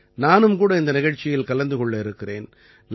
நானும் கூட இந்த நிகழ்ச்சியில் கலந்து கொள்ள இருக்கிறேன்